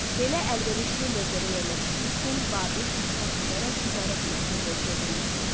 Belə əlverişli mövqedə yerləşdiyi üçün Babil inkişaf edərək ticarət mərkəzinə çevrilmişdi.